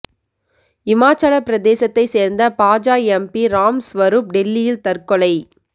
இமாச்சல பிரதேசத்தை சேர்ந்த பாஜ எம்பி ராம் ஸ்வரூப் டெல்லியில் தற்கொலை